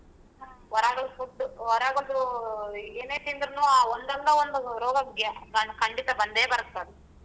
ಹೊರಗಳ್ food ಹೊರಗಡೆದು ಏನೇ ತಿಂದ್ರುನೂ ಒಂದಲ್ಲಾ ಒಂದ್ ರೋಗ ಖಂಡಿತಾ ಬಂದೆ ಬರ್ತ್ತದು.